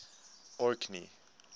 orkney